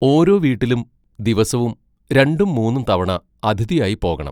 ഓരോ വീട്ടിലും ദിവസവും രണ്ടും മൂന്നും തവണ അതിഥിയായി പോകണം.